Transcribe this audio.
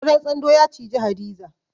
Ƙudan tsando ya ciji Hadiza.